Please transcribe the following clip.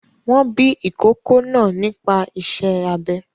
Wọn bí ìkókó náa nípa iṣẹ́ abẹ.